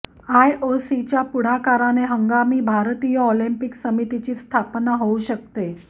आयओसीच्या पुढाकाराने हंगामी भारतीय ऑलिंपिक समितीची स्थापना होऊ शकते